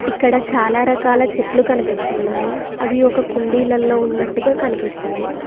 ఇక్కడ చాలా రకాల చెట్లు కనిపిస్తున్నాయి అవి ఒక కుండీలలో ఉన్నట్టుగా కనిపిస్తుంది.